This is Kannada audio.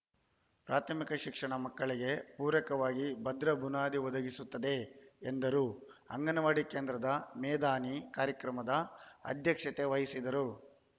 ಪ್ರಾಥಮಿಕ ಶಿಕ್ಷಣ ಮಕ್ಕಳಿಗೆ ಪೂರಕವಾಗಿ ಭದ್ರ ಬುನಾದಿ ಒದಗಿಸುತ್ತದೆ ಎಂದರು ಅಂಗನವಾಡಿ ಕೇಂದ್ರದ ಮೇದಿನಿ ಕಾರ್ಯಕ್ರಮದ ಅಧ್ಯಕ್ಷತೆ ವಹಿಸಿದರು